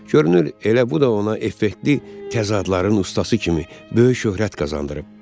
Görünür, elə bu da ona effektiv təzadların ustası kimi böyük şöhrət qazandırıb.